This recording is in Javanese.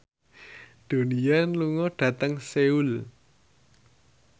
Donnie Yan lunga dhateng Seoul